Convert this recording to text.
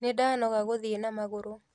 Nĩndanoga gũthiĩ na magũrũ